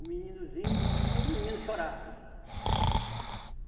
O meninozinho, só que os meninos chorava, aí